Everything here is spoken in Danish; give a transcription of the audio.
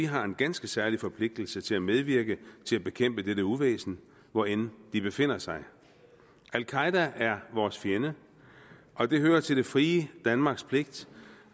har en ganske særlig forpligtelse til at medvirke til at bekæmpe dette uvæsen hvor end det befinder sig al qaeda er vores fjende og det hører til det frie danmarks pligt